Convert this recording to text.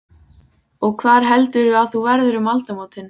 Og hvar heldurðu að þú verðir um aldamótin?